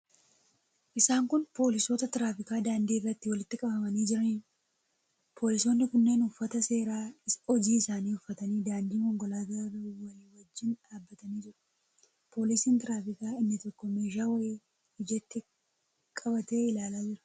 Isaan kun poolisoota tiraafikaa daandii irratti walitti qabamanii jiraniidha. Poolisoonni kunneen uffata seeraa hojii isaanii uffatanii daandii konkolaataa irra walii wajjin dhaabbatanii jiru. Poolisiin tiraafikaa inni tokko meeshaa wayii ijatti qabatee ilaalaa jira.